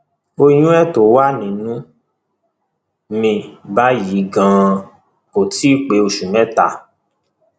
oyún ẹ tó wà nínú mi báyìí ganan kò tí ì pé oṣù mẹta